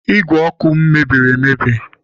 Ígwè ọkụ m mebiri emebi